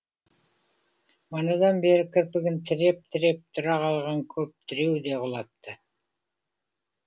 манадан бері кірпігін тіреп тіреп тұра қалған көп тіреу де құлапты